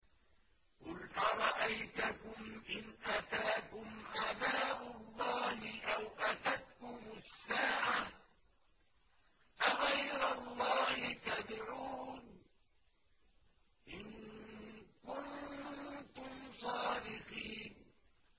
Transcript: قُلْ أَرَأَيْتَكُمْ إِنْ أَتَاكُمْ عَذَابُ اللَّهِ أَوْ أَتَتْكُمُ السَّاعَةُ أَغَيْرَ اللَّهِ تَدْعُونَ إِن كُنتُمْ صَادِقِينَ